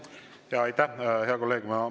Aitäh, hea kolleeg!